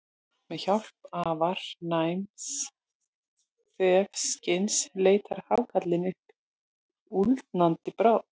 Með hjálp afar næms þefskyns leitar hákarlinn uppi úldnandi bráð.